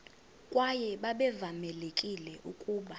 kwaye babevamelekile ukuba